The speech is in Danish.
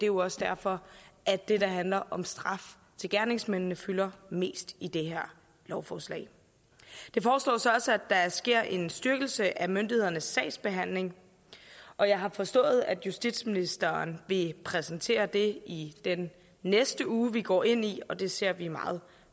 jo også derfor at det der handler om straf til gerningsmændene fylder mest i det her lovforslag det foreslås også at der sker en styrkelse af myndighedernes sagsbehandling og jeg har forstået at justitsministeren vil præsentere det i den uge vi går ind i og det ser vi meget